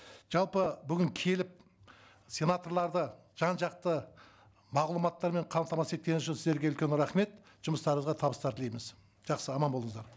жалпы бүгін келіп сенаторларды жан жақты мағлұматтармен қамтамасыз еткен үшін сіздерге үлкен рахмет жұмыстарыңызға табыстар тілейміз жақсы аман болыңыздар